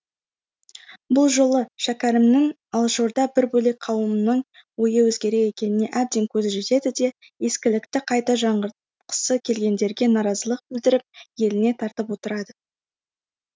бұл жолы шәкәрімнің алашорда бір бөлек қауымның ойы өзгерек екеніне әбден көзі жетеді де ескілікті қайта жаңғыртқысы келгендерге наразылық білдіріп еліне тартып отырады